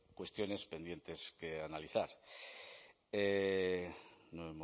cuestiones pendientes que analizar no